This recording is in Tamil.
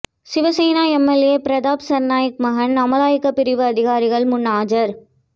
சிவசேனை எம்எல்ஏ பிரதாப் சா்நாயக் மகன் அமலாக்கப்பிரிவு அதிகாரிகள் முன் ஆஜா்